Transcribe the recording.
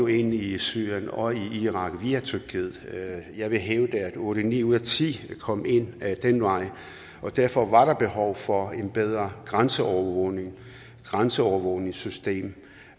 i syrien og i irak via tyrkiet jeg vil hævde at otte ni ud af ti kom ind ad den vej og derfor var der behov for et bedre grænseovervågningssystem grænseovervågningssystem